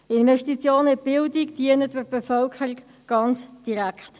Investitionen in die Bildung dienen der Bevölkerung ganz direkt.